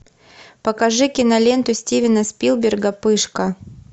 покажи киноленту стивена спилберга пышка